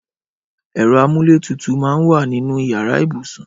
Ẹrọ àmúlétútú mà n wà ninú iyàrá ibúsún